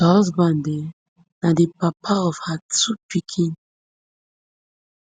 her husband um na di papa of her two pikin